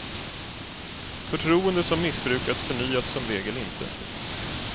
Förtroende som missbrukats förnyats som regel inte.